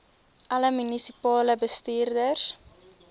alle munisipale bestuurders